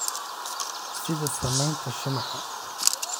sida samaynta shumaca,